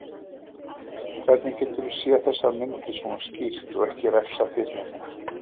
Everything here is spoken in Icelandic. Hvernig geturðu séð þessar myndir, svona skýrt, og ekki refsað fyrir þetta?